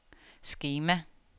skema